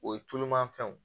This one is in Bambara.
O ye tulumafɛnw ye